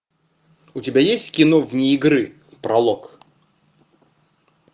у тебя есть кино вне игры пролог